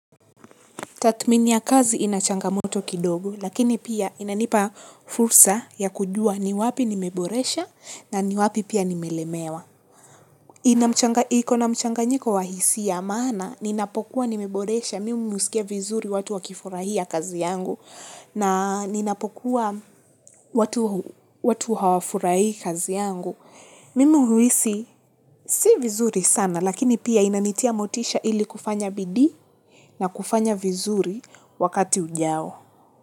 Tathmini ya kazi inachangamoto kidogo, lakini pia inanipa fursa ya kujua ni wapi nimeboresha na ni wapi pia nimelemewa. Iko na mchanganyiko wa hisia maana, ninapokuwa nimeboresha, mimi husikia vizuri watu wakifurahia kazi yangu, na ninapokuwa watu hawafurahi kazi yangu. Mimi huhisi si vizuri sana lakini pia inanitia motisha ili kufanya bidii na kufanya vizuri wakati ujao.